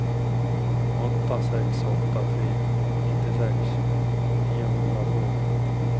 åtta sex åtta tre nittiosex niohundratvå